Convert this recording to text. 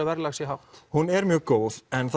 verðlagt sé hátt hún er mjög góð en